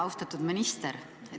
Austatud minister!